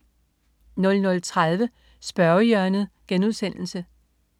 00.30 Spørgehjørnet*